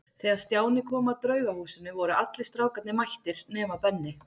Þegar Stjáni kom að Draugahúsinu voru allir strákarnir mættir nema Benni.